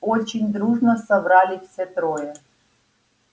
очень дружно соврали все трое